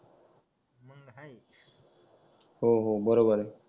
हो हो बरोबर आहे